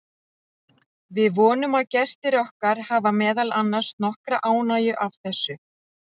Við vonum að gestir okkar hafi meðal annars nokkra ánægju af þessu.